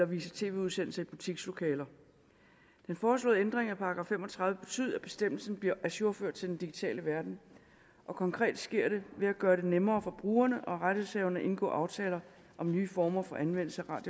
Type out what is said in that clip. vise tv udsendelser i butikslokaler den foreslåede ændring af § fem og tredive betyder at bestemmelsen bliver ajourført til den digitale verden og konkret sker det ved at gøre det nemmere for brugerne og rettighedshaverne at indgå aftaler om nye former for anvendelse af